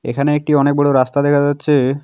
এখানে একটি অনেক বড় রাস্তা দেখা যাচ্ছে।